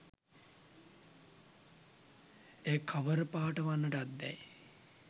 එය කවර පාට වන්නට ඇත්දැයි